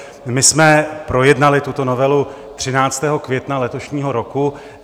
My jsme projednali tuto novelu 13. května letošního roku.